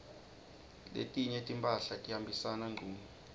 letinye timphahla tihambisana ngcunu